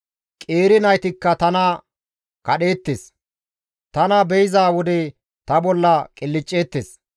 Qeeri naytikka tana kadheettes; tana be7iza wode ta bolla qilcceettes.